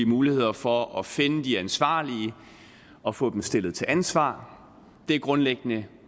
muligheder for at finde de ansvarlige og få dem stillet til ansvar det er grundlæggende